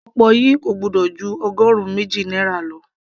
okpor yìí kò gbọ́dọ̀ ju ọgọrun méjì náírà lọ